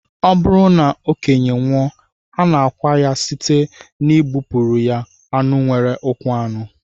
Ọ bụrụ na okenye nwụọ, a na-akwa ya site n'igbupụrụ ya anụ nwere ụkwụ anọ